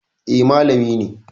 Eh, malami ne